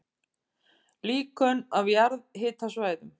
Líkön af jarðhitasvæðum